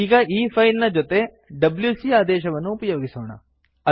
ಈಗ ಈ ಫೈಲ್ ನ ಜೊತೆ ಡಬ್ಯೂಸಿ ಆದೇಶವನ್ನು ಉಪಯೋಗಿಸೋಣ